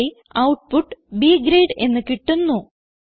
ഇവിടെ output B grade എന്ന് കിട്ടുന്നു